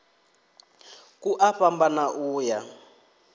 ku a fhambana u ya